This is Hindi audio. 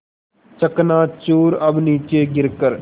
चकनाचूर अब नीचे गिर कर